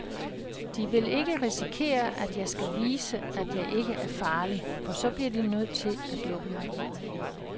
De vil ikke risikere, at jeg skal vise, at jeg ikke er farlig, for så bliver de jo nødt til at lukke mig ud.